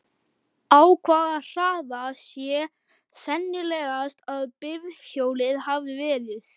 Á hvaða hraða sé sennilegast að bifhjólið hafi verið?